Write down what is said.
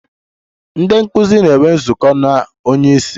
Ndị nkụzi na-enwe nzukọ na onye isi.